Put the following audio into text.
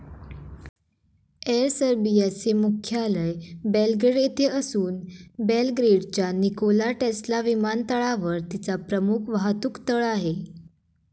Air सर्बियाचे मुख्यालय Belgrade येथे असून बेलग्रेडच्या निकोला टेस्ला विमानतळावर तिचा प्रमुख वाहतूकतळ आहे.